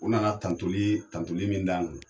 U nana tantoli tantoli min d'an kan